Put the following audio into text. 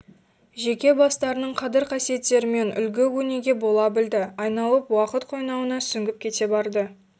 жеке бастарының қадір-қасиеттерімен үлгі-өнеге бола білді айналып уақыт қойнауына сүңгіп кете барды